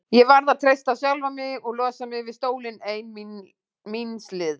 Ég varð að treysta á sjálfa mig og losa mig við stólinn ein míns liðs.